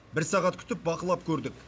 бір сағат күтіп бақылап көрдік